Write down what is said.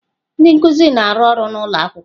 Ndị nkuzi na-arụ ọrụ n'ụlọ akwụkwọ.